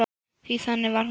Því þannig var hún.